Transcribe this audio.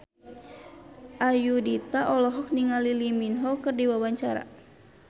Ayudhita olohok ningali Lee Min Ho keur diwawancara